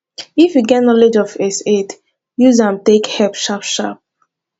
if you get knowlege of first aid use am take help sharp sharp